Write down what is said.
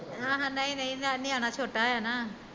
ਹਾਂ ਨਹੀਂ ਨਹੀਂ ਨਿਆਣਾ ਚੋਟਾ ਏ ਨਾ